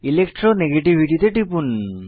electro negativity তে টিপুন